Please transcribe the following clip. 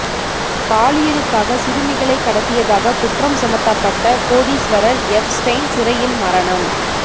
பாலியலுக்காக சிறுமிகளை கடத்தியதாக குற்றம் சுமத்தப்பட்ட கோடீஸ்வரர் எப்ஸ்டெய்ன் சிறையில் மரணம்